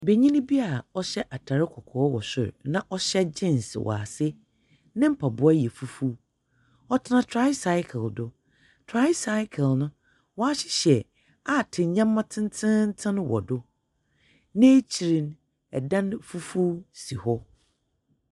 Benyini bi a ɔhyɛ atar kɔkɔɔ wɔ sor, na ɔhyɛ jeans wɔ ase, ne mpaboa yɛ fufuw. Ɔtena tricycle do. Tricycle no wɔahyehyɛ aate nneɛma tententen wɔ do. N'ekyir no, dan fufuo si hɔ.